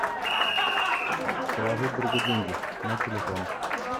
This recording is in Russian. положить другу деньги на телефон